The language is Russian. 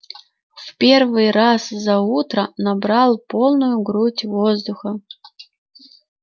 в первый раз за утро набрал полную грудь воздуха